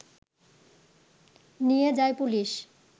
নিয়ে যায় পুলিশ